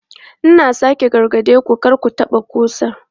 Ina sake gargade ku, kar ku taɓa ƙusan!